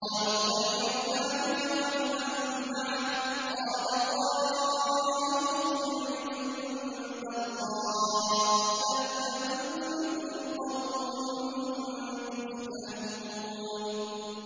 قَالُوا اطَّيَّرْنَا بِكَ وَبِمَن مَّعَكَ ۚ قَالَ طَائِرُكُمْ عِندَ اللَّهِ ۖ بَلْ أَنتُمْ قَوْمٌ تُفْتَنُونَ